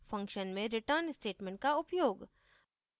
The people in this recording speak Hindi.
फंक्शन में return स्टेटमेंट का उपयोग